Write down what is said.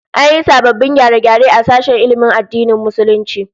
An yi sababbin gyare-gyare a sashen ilmin addinin Musulunci